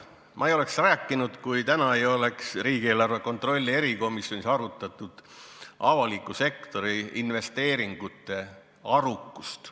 Ma ei oleks sellest rääkinud, kui täna poleks riigieelarve kontrolli erikomisjonis arutatud avaliku sektori investeeringute arukust.